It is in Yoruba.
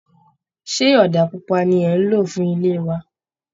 Ṣé ọ̀dà pupa ni ẹ̀ ń lò fún ilé wa?